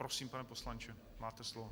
Prosím, pane poslanče, máte slovo.